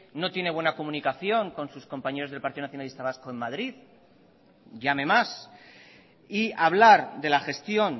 no tiene buena comunicación con sus compañeros del partido nacionalista vasco en madrid llame más y hablar de la gestión